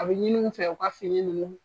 A bɛ ɲini u fɛ u ka fini ninnu